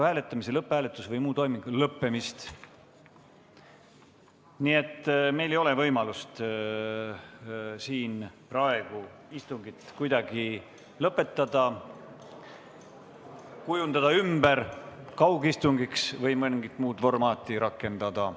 " Nii et meil ei ole võimalust siin praegu istungit kuidagi lõpetada, kujundada ümber kaugistungiks või mingit muud formaati rakendada.